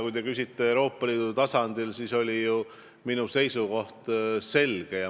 Kui te küsite Euroopa Liidu tasandi kohta, siis on minu seisukoht ju selge.